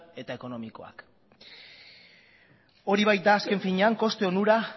eta ekonomikoak hori bait da azken finean koste onura